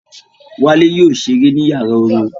Wálé yóò ṣeré ní yàrá orin